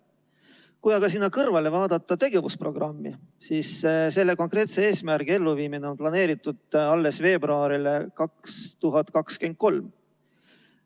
Kui aga sinna kõrvale vaadata tegevusprogrammi, siis selle konkreetse eesmärgi elluviimine on planeeritud alles veebruariks 2023.